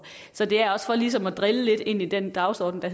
så det er også for ligesom at drille lidt ind i den dagsorden og